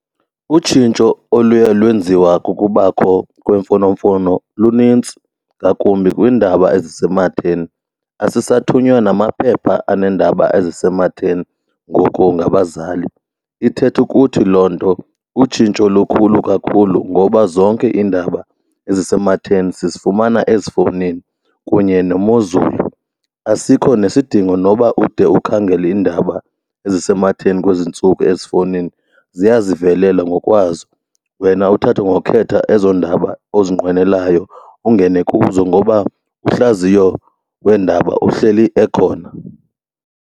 Utshintsho oluye lwenziwa kukubakho kwemfonomfono lunintsi ngakumbi kwiindaba ezisematheni. Asisathunywa namaphepha aneendaba ezisematheni ngoku ngabazali. Ithetha ukuthi kuba loo nto utshintsho lukhulu kakhulu ngoba zonke iindaba ezisematheni sizifumana ezifowunini kunye nemozulu. Asikho nesidingo noba ude ukhangele iindaba ezisematheni kwezi ntsuku ezifowunini, ziya zivelela ngokwazo wena uthathe ngokhetha ezo ndaba ozinqwenelayo ungene kuzo ngoba uhlaziyo wendaba uhleli ekhona.